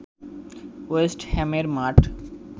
West হ্যামের মাঠ